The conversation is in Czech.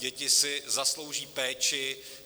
Děti si zaslouží péči.